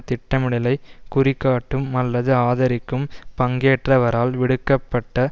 திட்டமிடலைக் குறிகாட்டும் அல்லது ஆதரிக்கும் பங்கேற்றவரால் விடுக்க பட்ட